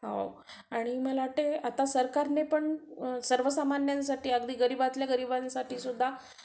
आणि मला वाटतंय आता सरकारने पण सर्वसामान्यांसाठी अगदी गरीबातल्या गरीबासाठीसुद्धा